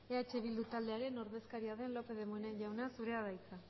eh bildu taldearen ordezkariak den lópez de munain jauna zurea da hitza